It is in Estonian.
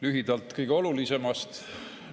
Lühidalt kõige olulisemast.